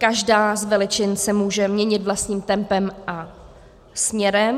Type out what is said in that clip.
Každá z veličin se může měnit vlastním tempem a směrem.